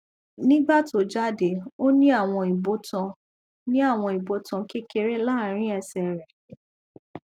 nígbà tó jáde ó ní àwọn ibotan ní àwọn ibotan kékeré láàrín ẹsẹ rẹ